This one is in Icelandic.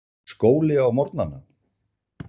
Skóli á morgnana.